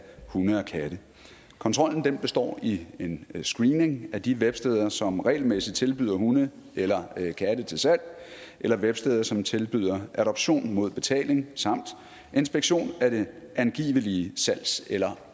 hunde og katte kontrollen består i en screening af de websteder som regelmæssigt tilbyder hunde eller katte til salg eller websteder som tilbyder adoption mod betaling samt inspektion af det angivelige salgs eller